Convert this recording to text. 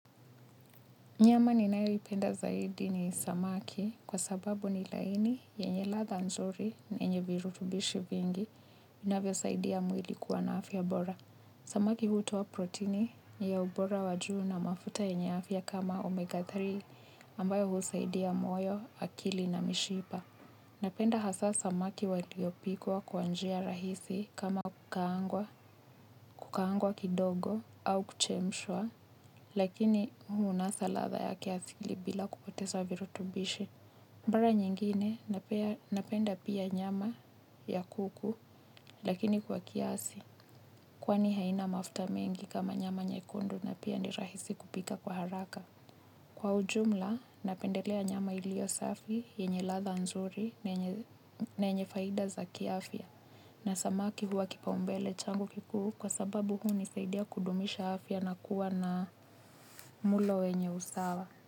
Nyama ninayoipenda zaidi ni samaki, kwa sababu ni laini yenye ladha nzuri na enye virutubishi vingi inavyo saidia mwili kuwana afya bora. Samaki hutoa proteini ni ya ubora wajuu na mafuta yenye afya kama omega tatu ambayo husaidia moyo, akili na mishipa. Napenda hasa samaki waliopikwa kwanjia rahisi kama kukaangwa kidogo au kuchemshwa. Lakini hu unasa latha yakiasili bila kupoteza virutubishi. Mbara nyingine, napenda pia nyama, ya kuku lakini kwa kiasi. Kwani haina mafta mengi kama nyama nyekundu na pia ni rahisi kupika kwa haraka. Kwa ujumla napendelea nyama ilio safi, yenye latha nzuri na yenye faida za kiafia. Na samaki hua kipa mbele changu kikuu, kwa sababu hu nisaidia kudumisha afya na kuwa na mulo wenye usawa.